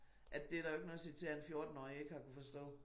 At det der jo ikke noget at sige til at en fjortenårrig ikke har kunnet forstå